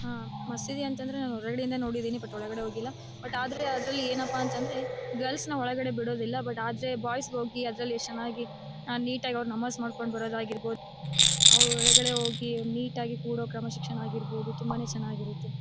ಮಸೀದಿ ಅಂತಂದ್ರೆ ಹೊರಗಡೆ ಇಂದ ನೋಡಿದೀನಿ ಬಟ್ ಒಳ್ಗಡೆ ಹೋಗಿಲ್ಲ. ಬಟ್ ಆದ್ರೆ ಅದರಲ್ಲಿ ಏನಪ್ಪಾ ಅಂತ ಅಂದ್ರೆ ಗರ್ಲ್ಸ್ ನ ಒಳಗಡೆ ಬಿಡೋದಿಲ್ಲ ಆದ್ರೆ ಬಾಯ್ಸ್ ಗೆ ಹೋಗಿ ಅದ್ರಲ್ಲಿ ಚೆನ್ನಾಗಿ ನೀಟ್ ಆಗಿ ನಮಾಸ್ ಮಾಡ್ಕೊಂಡ್ ಬರ್ಬಹುದು ಆಗಿರ್ಬಹುದು ಅವರ್ಗಳೇ ಹೋಗಿ ನೀಟ್ ಆಗಿ ಕುರೋ ಕ್ರಮ ಶಿಕ್ಷಣ ಆಗಿರ್ಬಹುದು ತುಂಬ ಚೆನ್ನಾಗಿರುತ್ತೆ.